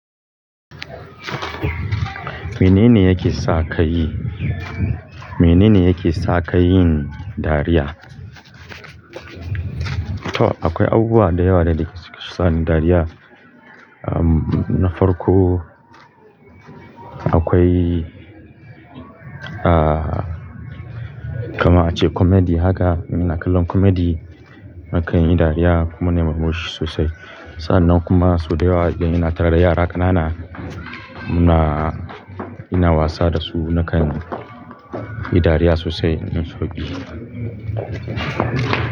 Menene yake sa ka yi, menene yake sa ka yin dariya? To akwai abubuwa da yawa da suke sani dariya. Um, na farko akwai, ah, kamar a ce comedy haka, muna kallon comedy. Nakan yi dariya kuma na murmushi sosai. Sa'an nan kuma sau da yawa za kiga ina tara yara ƙanana muna, ina wasa da su nakan yi dariya sosai. In so biyu.